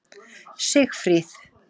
Sigfríð